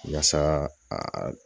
Yasa a